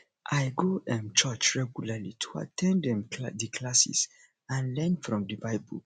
i go um church regularly to at ten d um di classes and learn from di bible